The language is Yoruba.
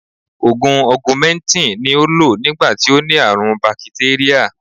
Ògùn Ọgumẹntìn ni ó lò nígbà tí ó ní àrùn bakitéríà